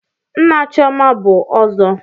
Nna Chioma bụ ọzọ.